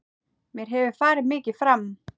Mér hefur farið mikið fram.